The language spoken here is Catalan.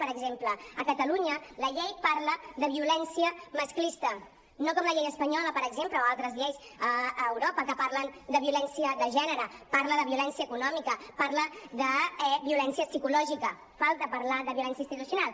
per exemple a catalunya la llei parla de violència masclista no com la llei espanyola per exemple o altres lleis a europa que parlen de violència de gènere parla de violència econòmica parla de violència psicològica falta parlar de violència institucional